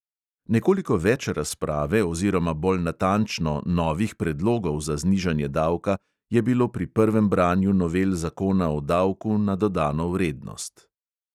Nekoliko več razprave oziroma bolj natančno novih predlogov za znižanje davka je bilo pri prvem branju novel zakona o davku na dodano vrednost.